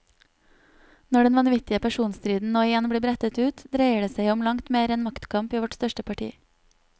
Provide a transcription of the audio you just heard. Når den vanvittige personstriden nå igjen blir brettet ut, dreier det som om langt mer enn maktkamp i vårt største parti.